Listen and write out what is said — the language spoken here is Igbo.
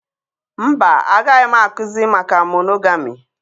Mba, agaghị m akụzi maka monogami